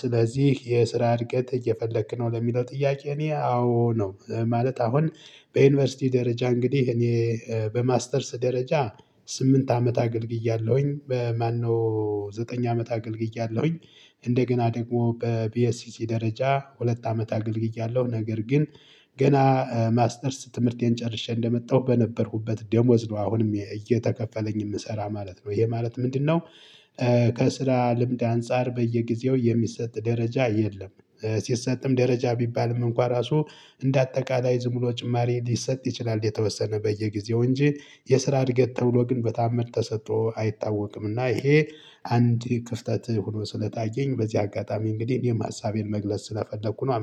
ስለዚህ የስራ እድገት እየፈለክ ነው ለሚለው ጥያቄ እኔ አዎ ነው። ማለት አሁን በዩኒቨርሲቲ ደረጃ እንግዲህ እኔ በማስተርስ ደረጃ ስምንት አመት አገልግያለሁኝ በ ማነው ዘጠኝ አመት አገልግያለሁኝ። እንደገና ደግሞ በቢኤስሲ ደረጃ ሁለት አመት አገልግያለሁ ነገር ግን ገና ማስተርስ ትምህርቴን ጨርሼ እንደመጣሁ በነበርኩበት ደሞዝ ነው አሁንም እየተከፈለኝ የምሰራ ማለት ነው። ይሄ ማለት ምንድነው? ከስራ ልምድ አንፃር በየጊዜው የሚሰጥ ደረጃ የለም። ሲሰጥም ደረጃ ቢባልም እንኳን ራሱ እንደ አጠቃላይ ዝም ብሎ ጭማሪ ሊሰጥ ይችላል። የተወሰነ በየጊዜው እንጂ የስራ እድገት ተብሎ ግን በታምር ተሰጥቶ አይታወቅምና ይሄ አንድ ክፍተት ሆኖ ስለታየኝ በዚህ አጋጣሚ እንግዲህ እኔም ሀሳቤን መግለጽ ስለፈለኩ ነው